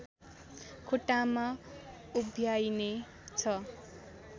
खुट्टामा उभ्याइने छ